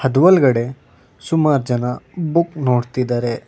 ಅದು ಒಳ್ಗಡೆ ಸುಮಾರ್ ಜನ ಬುಕ್ ನೋಡ್ತಿದರೆ.